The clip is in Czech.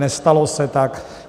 Nestalo se tak.